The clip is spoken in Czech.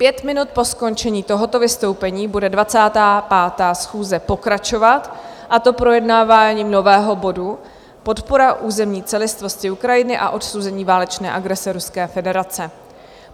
Pět minut po skončení tohoto vystoupení bude 25. schůze pokračovat, a to projednáváním nového bodu Podpora územní celistvosti Ukrajiny a odsouzení válečné agrese Ruské federace.